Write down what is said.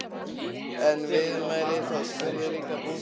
Er viðmælandinn þá spurður: Líka bútarnir?